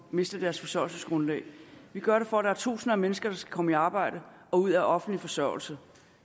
miste deres forsørgelsesgrundlag vi gør det for at der er tusinder af mennesker der skal komme i arbejde og ud af offentlig forsørgelse